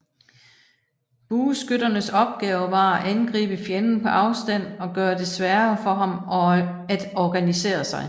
Bueskytternes opgave var at angribe fjenden på afstand og gøre det sværere for ham at organisere sig